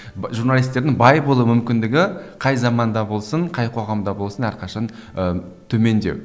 журналисттердің бай болу мүмкіндігі қай заманда болсын қай қоғамда болсын әрқашан ыыы төмендеу